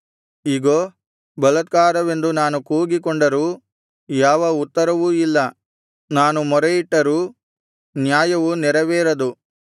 ಇಗೋ ಬಲಾತ್ಕಾರವೆಂದು ನಾನು ಕೂಗಿಕೊಂಡರೂ ಯಾವ ಉತ್ತರವೂ ಇಲ್ಲ ನಾನು ಮೊರೆಯಿಟ್ಟರೂ ನ್ಯಾಯವು ನೆರವೇರದು